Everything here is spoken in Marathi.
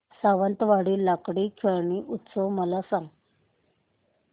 सावंतवाडी लाकडी खेळणी उत्सव मला सांग